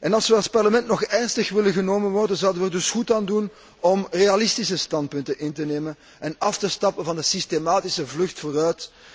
Als we als Parlement nog serieus genomen willen worden, zouden we er dus goed aan doen om realistische standpunten in te nemen en af te stappen van de systematische vlucht vooruit.